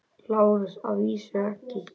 LÁRUS: Að vísu ekki.